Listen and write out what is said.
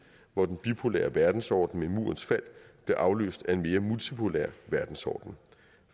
hvor den bipolære verdensorden med murens fald blev afløst af en mere multipolær verdensorden